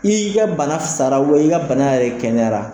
I y'i ka bana sara i ka bana yɛrɛ kɛnɛyara